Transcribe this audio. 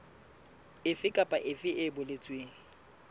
efe kapa efe e boletsweng